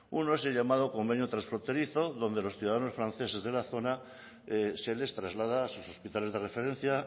uno es el llamado convenio transfronterizo donde los ciudadanos franceses de la zona se les traslada a sus hospitales de referencia